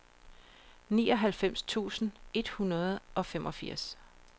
nioghalvfems tusind et hundrede og femogfirs